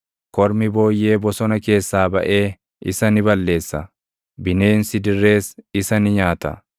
Kormi booyyee bosona keessaa baʼee isa ni balleessa; bineensi dirrees isa ni nyaata.